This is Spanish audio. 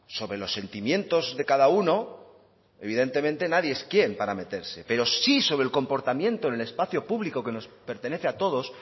sobre los sentimientos de cada uno evidentemente nadie es quien para meterse pero sí sobre el comportamiento en el espacio público que nos pertenece a todos